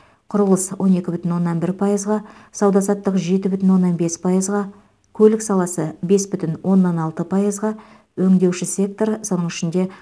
құрылыс он екі бүтін оннан бір пайызға сауда саттық жеті бүтін оннан бес пайызға көлік саласы бес бүтін оннан алты пайызға өңдеуші сектор соның ішінде